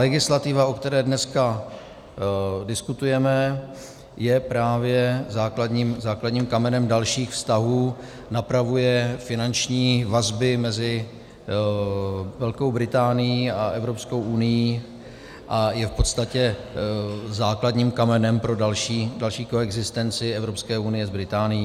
Legislativa, o které dneska diskutujeme, je právě základním kamenem dalších vztahů, napravuje finanční vazby mezi Velkou Británií a Evropskou unií a je v podstatě základním kamenem pro další koexistenci Evropské unie s Británií.